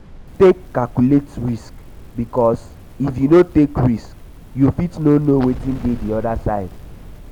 take calculate risk bikos if you no take risk you fit no no wetin dey um di oda side